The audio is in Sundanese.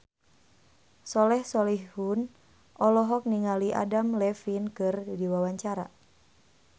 Soleh Solihun olohok ningali Adam Levine keur diwawancara